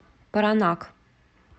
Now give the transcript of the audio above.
паранак